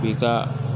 I ka